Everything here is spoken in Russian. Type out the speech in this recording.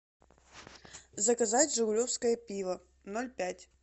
заказать жигулевское пиво ноль пять